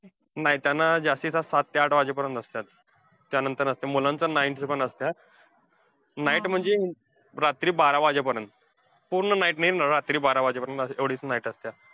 नाही. त्यांना जास्तीत जास्त सात ते आठ वाजेपर्यंत असत्यात. त्यांनतर नसतंय मुलांचं night पण असत्यात. Night म्हणजे, रात्री बारा वाजेपर्यंत. पूर्ण night नाही रात्री बारा वाजेपर्यंत आता तेवढीच night असतीया.